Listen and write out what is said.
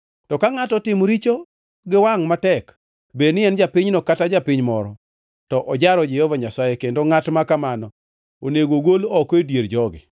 “ ‘To ka ngʼato otimo richo gi wangʼ matek, bed ni en japinyno kata japiny moro, to ojaro Jehova Nyasaye, kendo ngʼat makamano onego ogol oko e dier jogi.